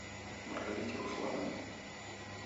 маргарите руслановне